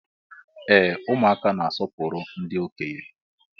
Ee ụmụaka na-asọpụrụ ndị okenye.